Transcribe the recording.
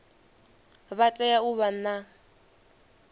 vha tea u vha na